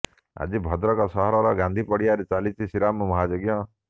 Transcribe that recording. ଆଜି ଭଦ୍ରକ ସହରର ଗାନ୍ଧୀ ପଡିଆଠାରେ ଚାଲିଛି ଶ୍ରୀରାମ ମହାଯଜ୍ଞ